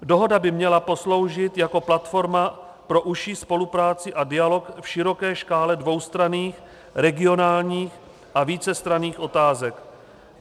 Dohoda by měla posloužit jako platforma pro užší spolupráci a dialog v široké škále dvoustranných regionálních a vícestranných otázek.